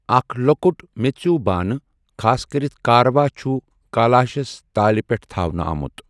اکھ لۄکُٹ میٚژِو بانہٕ، خاص کٔرِتھ کاروا چھُ کالاشَس تالہِ پٛٹھ تھاونہٕ آمت۔